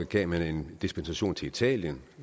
gav man en dispensation til italien